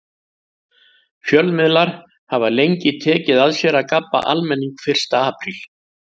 Fjölmiðlar hafa lengi tekið að sér að gabba almenning fyrsta apríl.